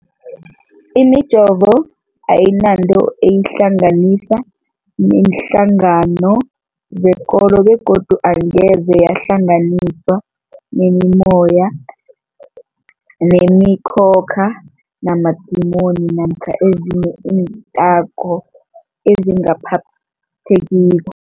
Imijovo ayinanto eyihlanganisa neenhlangano zekolo begodu angeze yahlanganiswa nemimoya, nemi khokha, namadimoni namkha ezinye iinthako ezingaphathekiko.